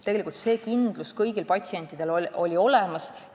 Tegelikult oli see kindlus kõigil patsientidel olemas.